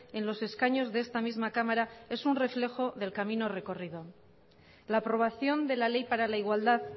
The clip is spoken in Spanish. en los escaños de esta misma cámara es un reflejo del camino recorrido la aprobación de la ley para la igualdad